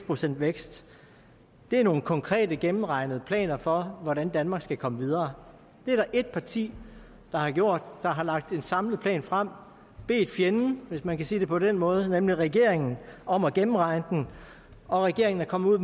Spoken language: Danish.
procent vækst er nogle konkrete gennemregnede planer for hvordan danmark skal komme videre det er der et parti der har gjort har lagt en samlet plan frem og bedt fjenden hvis man kan sige det på den måde nemlig regeringen om at gennemregne den og regeringen er kommet ud